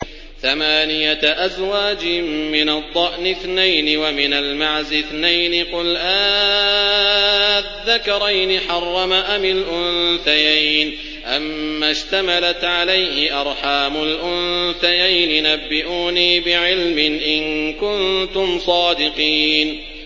ثَمَانِيَةَ أَزْوَاجٍ ۖ مِّنَ الضَّأْنِ اثْنَيْنِ وَمِنَ الْمَعْزِ اثْنَيْنِ ۗ قُلْ آلذَّكَرَيْنِ حَرَّمَ أَمِ الْأُنثَيَيْنِ أَمَّا اشْتَمَلَتْ عَلَيْهِ أَرْحَامُ الْأُنثَيَيْنِ ۖ نَبِّئُونِي بِعِلْمٍ إِن كُنتُمْ صَادِقِينَ